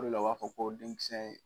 O de la, u b'a fɔ ko denmisɛn ye